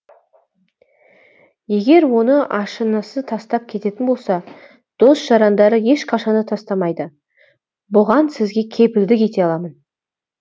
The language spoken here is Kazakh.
егер оны ашынасы тастап кететін болса дос жарандары ешқашан да тастамайды бұған сізге кепілдік ете аламын